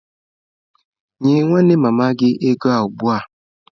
Nye nwanne mama gi ego a ugbua!